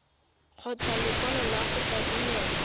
kgotsa lekwalo la go rebolelwa